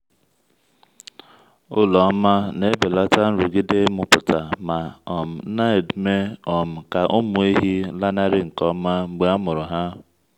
ụlọ ọma na-ebelata nrụgide ịmụpụta ma um na-eme um ka ụmụ ehi lanarị nke ọma mgbe a mụrụ ha.